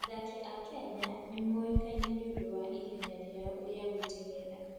Athaki a Kenya nĩ moĩkaine nĩ ũndũ wa ihenya rĩao rĩa gũteng'era.